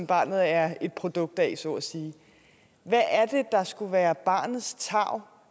barnet er et produkt af så at sige hvad er det der skulle være barnets tarv